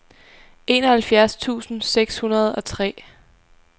enoghalvfjerds tusind seks hundrede og tre